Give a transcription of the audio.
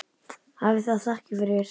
Hafi það þakkir fyrir.